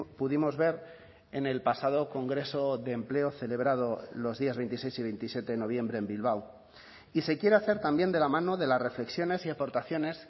pudimos ver en el pasado congreso de empleo celebrado los días veintiséis y veintisiete de noviembre en bilbao y se quiere hacer también de la mano de las reflexiones y aportaciones